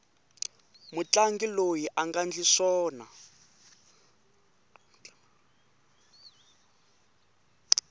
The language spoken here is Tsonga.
mutlangi loyi anga ndli swona